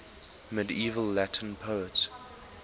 medieval latin poets